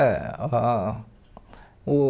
Eh ah uh